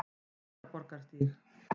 Bræðraborgarstíg